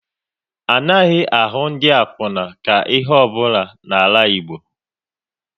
Anaghị ahụ ndị akwuna ka ihe ọ bụla n'ala Igbo